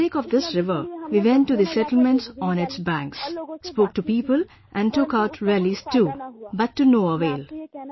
For the sake of this river we went to settlements on its banks, spoke to people and took out rallies too, but to no avail